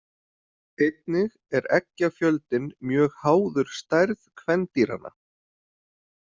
Einnig er eggjafjöldinn mjög háður stærð kvendýranna.